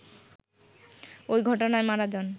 ওই ঘটনায় মারা যান